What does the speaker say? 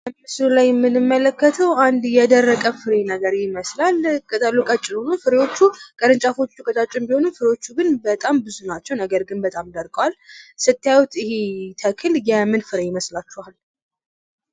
በምስሉ ላይ የምንመለከተው አንድ የደረቀ ፍሬ ነገር ይመስላል። ቅጠሉ ቀጭን ሆኖ ፍሬወቹ ቅርንጫፎቹ ቀጫጭን ቢሆኑም ፍሬዎቹ ግን በጣም ብዙ ናቸው። ነገር ግን በጣም ደርቀዋል። ስታዩት ይሄ ተክል የምን ፍሬ ይመስላችኋል?